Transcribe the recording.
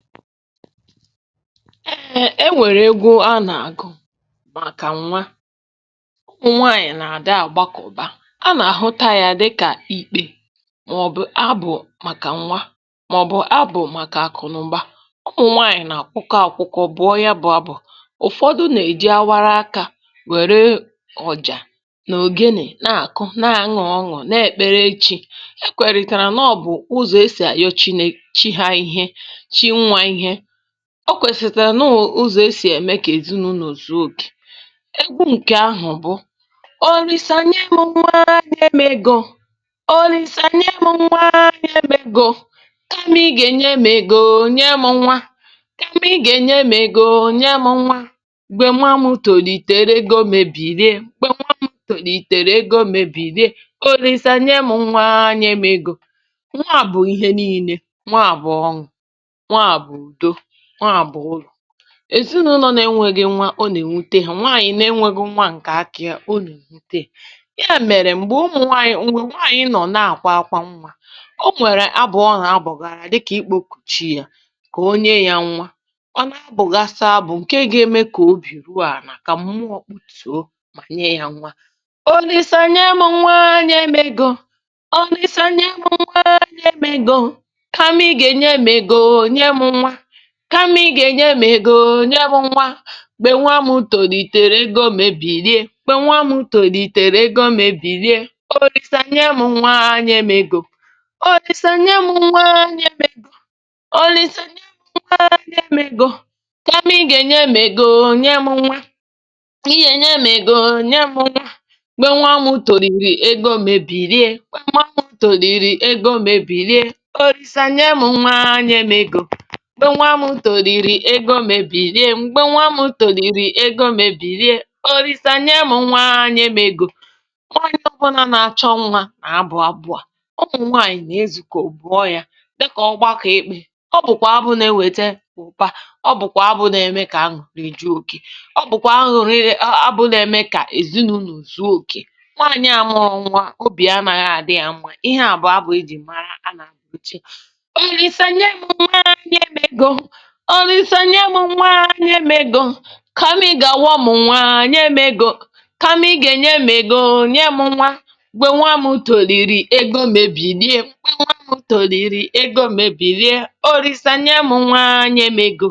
E nwere abụ a a na-agụ maka nwanyị chọrọ ịmụ nwa ma chọọ ịnakọta akụ. A na-ele ya anya dịka ekpere, ma ọ bụ abụ arịrịọ maka nwa, ma ọ bụ abụ arịrịọ maka akụ na ụba. Nwanyị ahụ na-abụ abụ ahụ mgbe ọ na-eti aka, ma ọ bụ mgbe ọ na-akụ ngwá egwu dịka ogene. Ọ na-abụ abụ, ma n’otu oge ahụ, ọ na-ekpe ekpere nye chi ya, na-ekwere na nke a bụ ụzọ isi kpebie arịrịọ ya n’aka chi ya. Ọ bụkwa ụzọ ezinụlọ si sonyere n’omume ahụ. Abụ ahụ na-akpọ chi na-enye nwa, sị Chi, nye m nwa. Nye m ego, nye m nwa. Mgbe nwa m toro, ọ ga-enye m ego. Ọ bụrụ na nwa m toro ma ghara inye m ego, mee ka a kụ ya ntaramahụhụ. Chi, nye m nwa. N’ezinụlọ m, ụmụ adịghị. Ọ na-ewute nwanyị na-enweghị nwa. A na-abụ abụ ahụ ugboro ugboro. Ụfọdụ mgbe, nwanyị ahụ na-akwa ákwá mgbe ọ na-abụ abụ. Ụfọdụ mgbe, ọ na-abụ abụ ahụ n’ike mmụọ, um iji metụta mmụọ ka ha nye ya nwa. N’ime abụ ahụ, ọ na-aga n’ihu, sị Chi, nye m nwa. Chi, nye m ego, nye m nwa. Mgbe nwa m toro, ọ ga-enye m ego. Ọ bụrụ na nwa m toro ma ghara inye m ego, mee ka a kụ ya ntaramahụhụ. Abụ a bụ abụ arịrịọ. Ọ bụ mkpịakọta maka ịmụ nwa, ọ bụkwa mkpịakọta maka akụ na ụba. Ọ bụ arịrịọ ka chi nye ya nwa, ga-abụkwa onye ga-ewetara ya akụ na ọganihu. Nke a bụ ihe mere e ji abụ abụ ahụ ugboro ugboro. Ọ bụghị naanị abụ, ọ bụkwa arịrịọ ime mmụọ, ọ bụkwa emume nke na-emetụta obi ezinụlọ na obi nwanyị ahụ n’onwe ya.